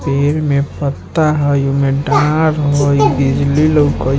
पेड़ में पत्ता हई ओय में डार हई बिजली लौकत --